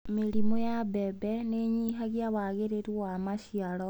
Mĩrimũ ya mbembe nĩĩnyihagia wagĩrĩru wa maciaro.